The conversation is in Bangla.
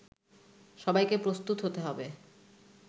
সব্বাইকে প্রস্তুত হতে হবে